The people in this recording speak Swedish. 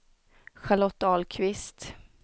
Charlotte Ahlqvist